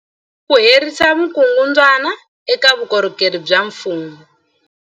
Ku herisa vukungundwani eka vukorhokeri bya mfumo.